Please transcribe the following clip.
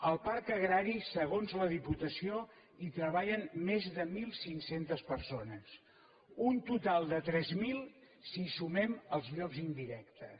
al parc agrari segons la diputació hi treballen més de mil cinc cents persones un total de tres mil si hi sumem els llocs indirectes